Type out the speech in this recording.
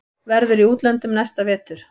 Verður í útlöndum næsta vetur.